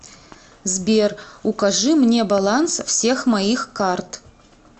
сбер укажи мне баланс всех моих карт